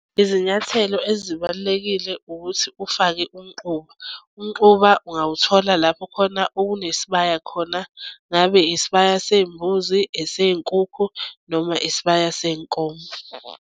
Izinyathelo ezibalulekile ukuthi ufake umquba, umquba ungawuthola lapho khona okunesibaya khona. Ngabe isibaya seyimbuzi eseyinkukhu noma isibaya senkomo.